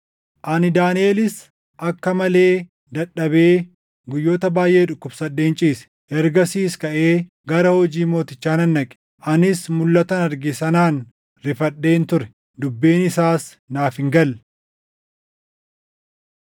Ani Daaniʼelis akka malee dadhabee guyyoota baayʼee dhukkubsadheen ciise. Ergasiis kaʼee gara hojii mootichaa nan dhaqe. Anis mulʼatan argee sanaan rifadheen ture; dubbiin isaas naaf hin galle.